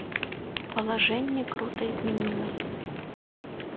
положение круто изменилось